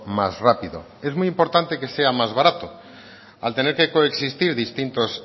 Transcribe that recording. más rápido es muy importante que sea más barato al tener que coexistir distintos